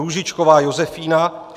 Růžičková Josefína